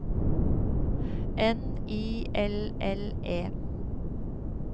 N I L L E